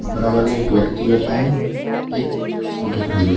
बराबर में एक व्यक्ति बैठा है एक स्कूटी खड़ी है।